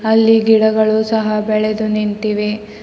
ಅಲ್ಲಿ ಗಿಡಗಳು ಸಹ ಬೆಳೆದು ನಿಂತಿವೆ.